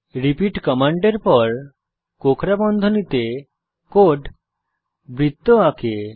repeat কমান্ডের পর কোঁকড়া বন্ধনীতে কোড বৃত্ত আঁকে